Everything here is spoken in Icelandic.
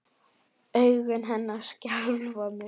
Augu hennar skelfa mig.